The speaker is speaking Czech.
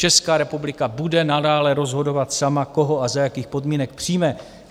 Česká republika bude nadále rozhodovat sama, koho a za jakých podmínek přijme.